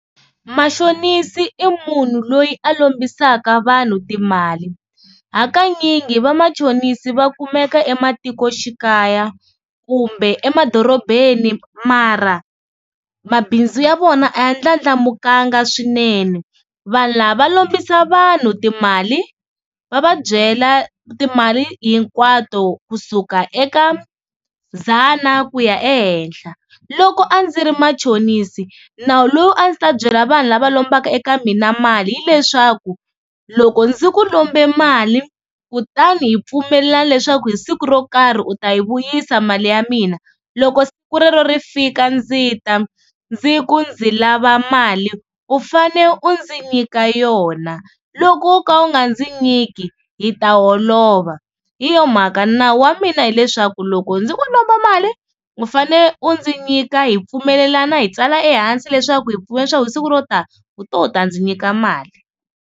Mashonisi i munhu loyi a lombisaka vanhu timali, hakanyingi vamachonisi va kumeka ematikoxikaya kumbe emadorobeni mara mabindzu ya vona a ya ndlandlamukanga swinene. Vanhu lava va lombisa vanhu timali va va byela timali hinkwato kusuka eka dzana ku ya ehenhla. Loko a ndzi ri machonisi nawu lowu a ndzi ta byela vanhu lava lombaka eka mina mali hileswaku loko ndzi ku lombe mali kutani hi pfumelelana leswaku hi siku ro karhi u ta yi vuyisa mali ya mina, loko siku rero ri fika ndzi ta ndzi ku ndzi lava mali u fane u ndzi nyika yona, loko o ka u nga ndzi nyiki hi ta holova. Hi yo mhaka nawu wa mina hileswaku loko ndzi ku lomba mali u fane u ndzi nyika hi pfumelelana hi tsala ehansi leswaku hi pfumelelanile swaku hi siku ro tani u te u ta ndzi nyika mali.